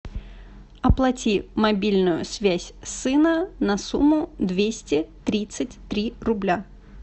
оплати мобильную связь сына на сумму двести тридцать три рубля